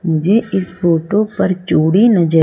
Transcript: मुझे इस फोटो पर चूड़ी नजर--